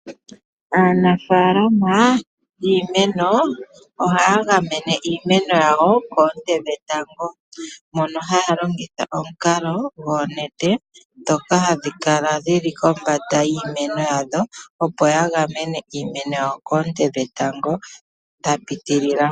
Aanafaalama yiimeno ohaya gamene iimeno yawo koonte dhetango mono haya longitha omukalo gwoonete dhoka hadhi kala dhili kombanda yiimeno yadho opo ya gamene iimeno yawo koonte dhetango dha pitilila.